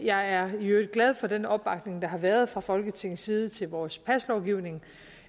jeg er i øvrigt glad for den opbakning der har været fra folketingets side til vores paslovgivning